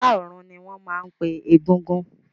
Ará ọ̀run ni wọ́n máa ń pe egúngún